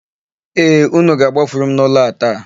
Ee, ụnụ ga-agbafuru m n'ụlọ a taa.